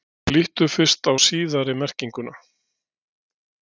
Lítum fyrst á síðari merkinguna.